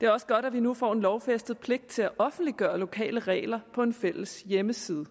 er også godt at vi nu får en lovfæstet pligt til at offentliggøre lokale regler på en fælles hjemmeside